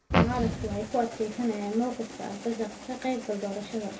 Mucaaradku waxa ay ku adkaysanayaan mawqifka ah ka qayb galka doorashada.